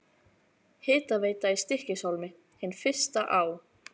Hitaveita í Stykkishólmi, hin fyrsta á